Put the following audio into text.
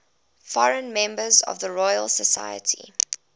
foreign members of the royal society